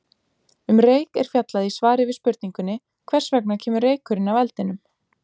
Um reyk er fjallað í svari við spurningunni Hvers vegna kemur reykurinn af eldinum?